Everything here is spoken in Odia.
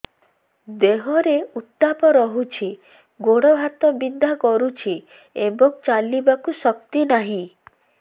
ଦେହରେ ଉତାପ ରହୁଛି ଗୋଡ଼ ହାତ ବିନ୍ଧା କରୁଛି ଏବଂ ଚାଲିବାକୁ ଶକ୍ତି ନାହିଁ